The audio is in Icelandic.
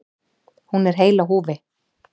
Hún er heil á húfi.